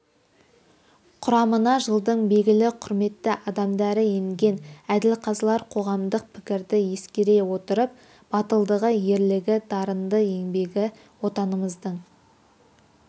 құрамына жылдың белгілі құрметті адамдары енген әділқазылар қоғамдық пікірді ескере отырып батылдығы ерлігі дарыны еңбегі отанымыздың